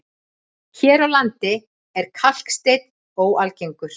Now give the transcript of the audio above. Hér á landi er kalksteinn óalgengur.